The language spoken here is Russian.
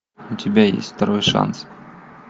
у тебя есть второй шанс